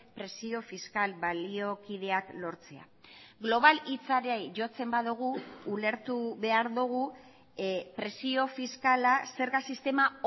presio fiskal baliokideak lortzea global hitzari jotzen badugu ulertu behar dugu presio fiskala zerga sistema